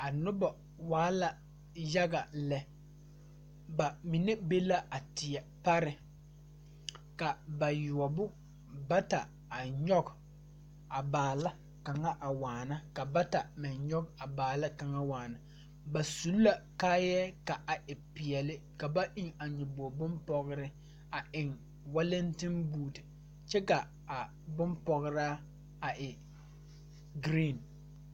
A noba waa la yaga lɛ ba mine be la a tie pare a bayuobo bata a nyɔge a baala kaŋa waana ka bata meŋ nyɔge a baala waana ba su la kaayɛ ka a e peɛle ba eŋ a nyɔboo bompɔgeraa a eŋ walenten boo kyɛ ka kaa bompɔgeraa a e geree